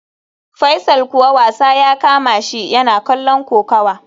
Faisal kuwa wasa ya kamashi, yana kallon kokawa